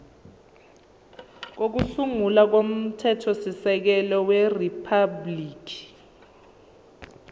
kokusungula komthethosisekelo weriphabhuliki